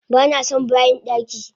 Banason bayin daki!